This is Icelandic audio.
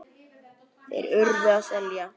Þeir URÐU að selja.